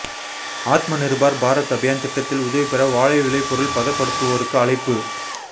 ஆத்ம நிா்பாா் பாரத் அபியான் திட்டத்தில் உதவி பெற வாழை விளைபொருள் பதப்படுத்துவோருக்கு அழைப்பு